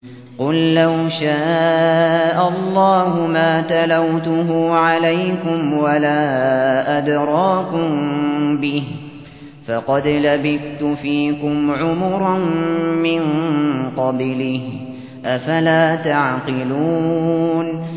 قُل لَّوْ شَاءَ اللَّهُ مَا تَلَوْتُهُ عَلَيْكُمْ وَلَا أَدْرَاكُم بِهِ ۖ فَقَدْ لَبِثْتُ فِيكُمْ عُمُرًا مِّن قَبْلِهِ ۚ أَفَلَا تَعْقِلُونَ